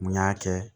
Mun y'a kɛ